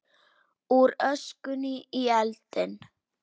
Úr öskunni í eldinn